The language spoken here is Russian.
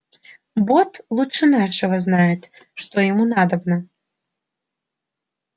бог лучше нашего знает что ему надобно